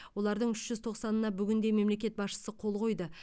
олардың үш жүз тоқсанына бүгінде мемлекет басшысы қол қойды